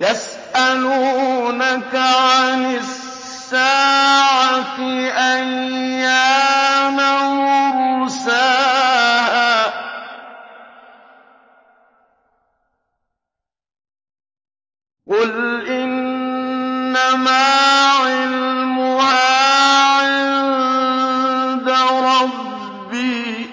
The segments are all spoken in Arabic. يَسْأَلُونَكَ عَنِ السَّاعَةِ أَيَّانَ مُرْسَاهَا ۖ قُلْ إِنَّمَا عِلْمُهَا عِندَ رَبِّي ۖ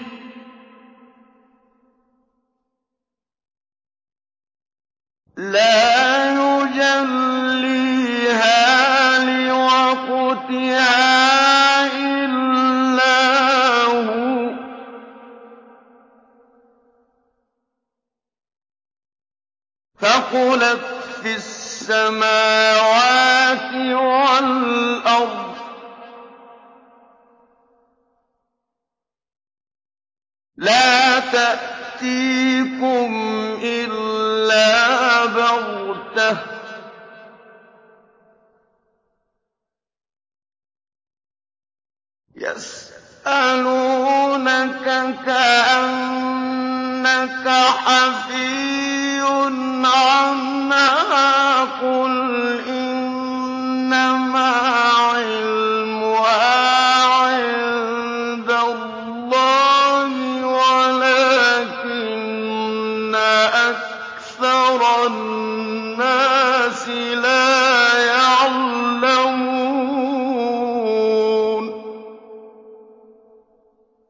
لَا يُجَلِّيهَا لِوَقْتِهَا إِلَّا هُوَ ۚ ثَقُلَتْ فِي السَّمَاوَاتِ وَالْأَرْضِ ۚ لَا تَأْتِيكُمْ إِلَّا بَغْتَةً ۗ يَسْأَلُونَكَ كَأَنَّكَ حَفِيٌّ عَنْهَا ۖ قُلْ إِنَّمَا عِلْمُهَا عِندَ اللَّهِ وَلَٰكِنَّ أَكْثَرَ النَّاسِ لَا يَعْلَمُونَ